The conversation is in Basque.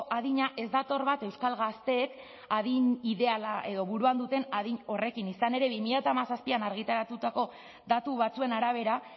adina ez dator bat euskal gazteek adin ideala edo buruan duten adin horrekin izan ere bi mila hamazazpian argitaratutako datu batzuen arabera